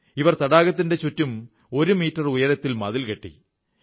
ഇവർ തടാകത്തിന്റെ ചുറ്റും ഒരു മീറ്റർ ഉയരത്തിൽ മതിൽ കെട്ടി